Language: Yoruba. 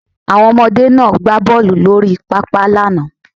Àwọn ọmọdé náà gbá bọ́ọlù lórí pápá lánàá